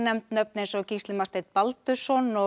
nöfn eins og Gísli Marteinn Baldursson og